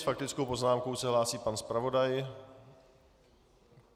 S faktickou poznámkou se hlásí pan zpravodaj.